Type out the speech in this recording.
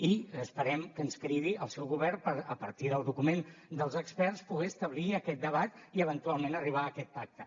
i esperem que ens cridi el seu govern per a partir del document dels experts poder establir aquest debat i eventualment arribar a aquest pacte